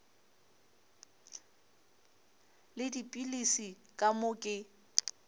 le dipilisi ka moo ke